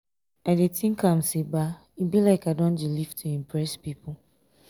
i dey tink am sey e be like i don dey live to impress pipu.